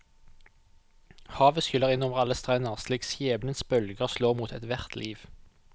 Havet skyller inn over alle strender slik skjebnens bølger slår mot ethvert liv.